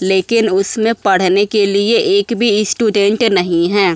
लेकिन उसमें पढ़ने के लिए एक भी स्टूडेंट नहीं हैं।